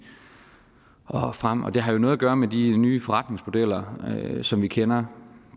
og frem det har jo noget at gøre med de nye forretningsmodeller som vi kender